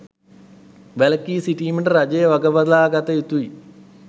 වැළකී සිටීමට රජය වගබලා ගත යුතුයි